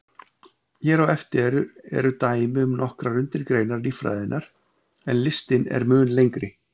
Hér á eftir eru dæmi um nokkrar undirgreinar líffræðinnar, en listinn er mun lengri.